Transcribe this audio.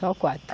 Só quatro.